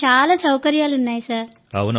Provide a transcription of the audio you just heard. అక్కడ చాలా సౌకర్యాలు ఉన్నాయి సార్